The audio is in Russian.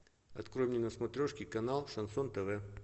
открой мне на смотрешке канал шансон тв